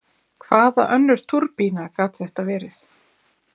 Hvaða önnur túrbína gat þetta verið?